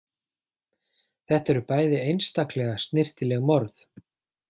Þetta eru bæði einstaklega snyrtileg morð.